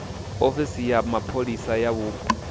ofisi ya mapholisa ya vhupo